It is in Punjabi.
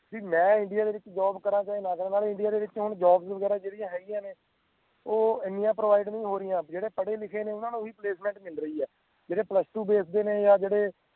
ਵੀ ਮੈਂ India ਦੇ ਵਿਚ job ਕਰਾਂ ਚਾਹੇ ਨਾ ਕਰਾਂ ਮੈਂ ਤਾਂ India ਦੇ ਵਿਚ job ਵਗੈਰਾ ਜਿਹੜੀਆਂ ਹੈਗੀਆਂ ਨੇ ਉਹ ਇੰਨੀਆਂ provide ਨੀ ਹੋ ਰਹੀਆਂ ਬਈ ਜਿਹੜਾ ਪੜ੍ਹੇ ਲਿਖੇ ਨੇ ਉਹਨਾਂ ਨੂੰ ਹੀ placement ਮਿਲ ਰਹੀ ਆ ਜਿਹੜੇ plus two based ਨੇ ਜਾਂ ਜਿਹੜੇ